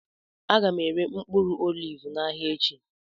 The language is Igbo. Aga m ere mkpụrụ oliv n'ahịa echi